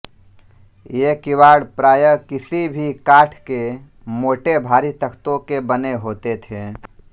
ये किवाड़ प्राय किसी भी काठ के मोटे भारी तख्तों के बने होते थे